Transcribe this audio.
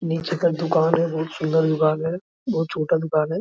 नीचे का दुकान है बहुत सुन्दर दुकान है बहुत छोटा दुकान है |